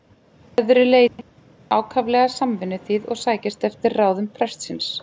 Að öðru leyti er hún ákaflega samvinnuþýð og sækist eftir ráðum prestsins.